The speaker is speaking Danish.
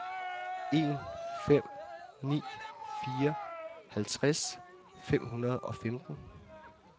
en fem ni fire halvtreds fem hundrede og femten